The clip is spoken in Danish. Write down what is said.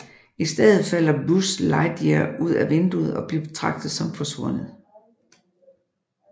I stedet falder Buzz Lightyear ud af vinduet og bliver betragtet som forsvundet